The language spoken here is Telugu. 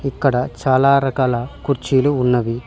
ఇక్కడ చాలా రకాల కుర్చీలు ఉన్నవి.